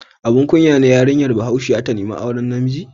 Abun kunya ne yarinya Bahaushiya ta nemi auren namiji?